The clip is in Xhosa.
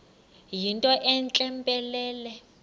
yinto entle mpelele